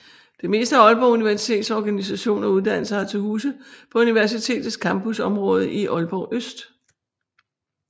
Det meste af Aalborg Universitets organisation og uddannelser har til huse på universitetets campusområde i Aalborg Øst